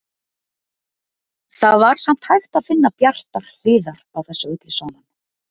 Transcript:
Það var samt hægt að finna bjartar hliðar á þessu öllu saman.